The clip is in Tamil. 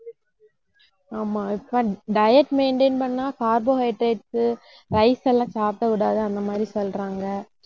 ஆமா இப்ப diet maintain பண்ணா carbohydrates, rice எல்லாம் சாப்பிடக் கூடாது அந்த மாதிரி சொல்றாங்க